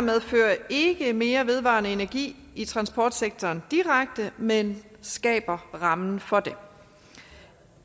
medfører ikke mere vedvarende energi i transportsektoren direkte men skaber rammen for det